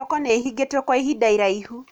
Thoko nĩĩhingĩtwo kwa ihinda iraihu